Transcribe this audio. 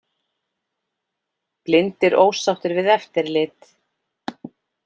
Blindir ósáttir við eftirlit